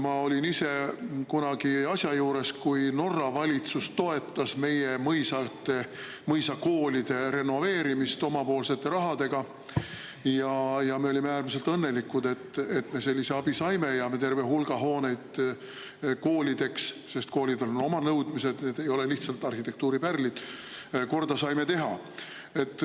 Ma olin ise kunagi asja juures, kui Norra valitsus toetas meie mõisate, mõisakoolide renoveerimist oma rahaga, ja me olime äärmiselt õnnelikud, et me sellise abi saime ja terve hulga hooneid koolideks – sest koolidel on oma nõudmised, need ei ole lihtsalt arhitektuuripärlid – korda saime teha.